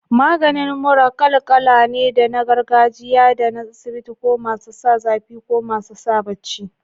Maganin mura kal kala ne, da na gargajiya da na asibiti, ko masu sa zafi ko masu sa baci.